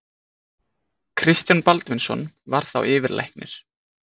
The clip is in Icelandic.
Kristján Baldvinsson var þá yfirlæknir.